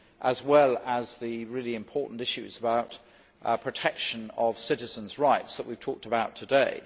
as well as the really important issues about the protection of our citizens' rights that we have talked about today.